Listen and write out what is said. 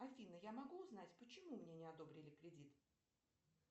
афина я могу узнать почему мне не одобрили кредит